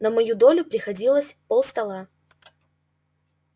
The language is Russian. на мою долю приходилось полстола